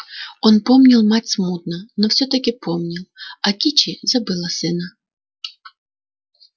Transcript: он помнил мать смутно но всё-таки помнил а кичи забыла сына